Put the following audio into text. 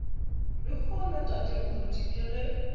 lehono tate moruti ke ge